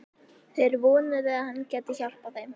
Þeir vonuðu, að hann gæti hjálpað þeim.